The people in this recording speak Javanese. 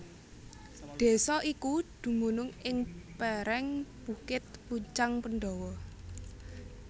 Désa iki dumunung ing pèrèng bukit Pucang Pendawa